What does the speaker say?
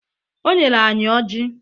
O nyere anyị Ọji